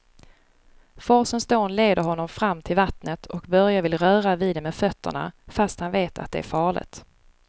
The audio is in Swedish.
Forsens dån leder honom fram till vattnet och Börje vill röra vid det med fötterna, fast han vet att det är farligt.